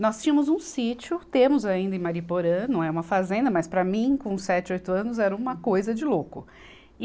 Nós tínhamos um sítio, temos ainda em Mairiporã, não é uma fazenda, mas para mim, com sete, oito anos, era uma coisa de louco. e